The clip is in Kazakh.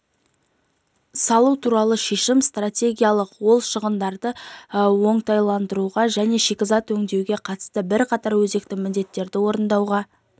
көмектеседі жәйрем бұл ең алдымен еліміздің тау-кен өндіру саласын әрі қарай дамытуға бағытталған перспективалы